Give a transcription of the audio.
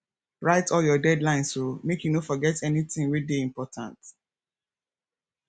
write all your deadlines o make you no forget anytin wey dey important